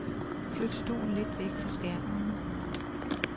Flyt stolen lidt væk fra skærmen.